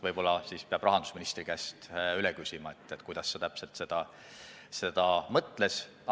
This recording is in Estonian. Võib-olla peab rahandusministri käest üle küsima, mida ta täpselt mõtles.